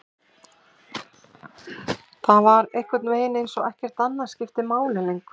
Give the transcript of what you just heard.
Það var einhvernveginn eins og ekkert annað skipti máli lengur.